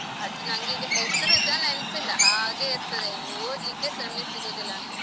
ಅದು ನನ್ಗೀಗ ಹೆಸರುಸ ನೆನಪ್ಪಿಲ್ಲ ಹಾಗೆ ಇರ್ತದೆ ಓದ್ಲಿಕ್ಕೆ ಸಮಯ ಸಿಗುದಿಲ್ಲ ಅಂತ.